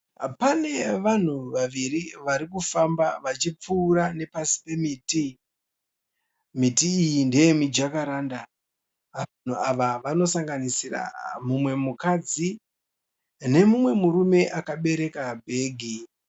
Pane vanhu vaviri vari kufamba vachipfuura nepasi pemiti. Miti iyi ndeye mijakaranda. Vanhu ava vanogananisira mumwe mukadzi nemumwe murume akabereka bhegi.